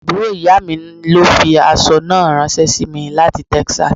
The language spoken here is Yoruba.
Àbúrò ìyá mi ló fi aṣọ náà ranse sí mi láti Texas.